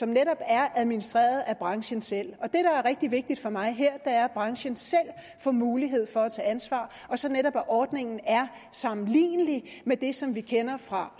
netop er administreret af branchen selv det er rigtig vigtigt for mig her er at branchen selv får mulighed for at tage ansvar og så netop at ordningen er sammenlignelig med det som vi kender fra